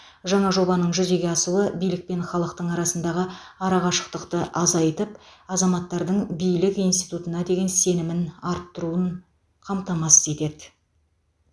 жаңа жобаның жүзеге асуы билік пен халықтың арасындағы арақашықтықты азайтып азаматтардың билік институтына деген сенімін арттыруын қамтамасыз етеді